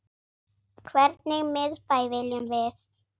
Hvernig miðbæ viljum við?